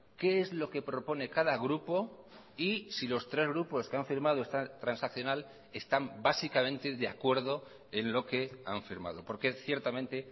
qué es lo que propone cada grupo y si los tres grupos que han firmado esta transaccional están básicamente de acuerdo en lo que han firmado porque ciertamente